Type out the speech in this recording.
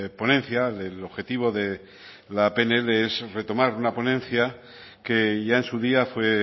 ponencia el objetivo de la pnl es retomar una ponencia que ya en su día fue